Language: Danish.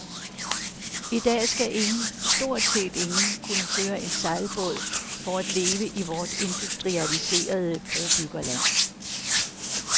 I dag skal ingen, stort set ingen, kunne føre en sejlbåd for at leve i vort industrialiserede brobyggerland.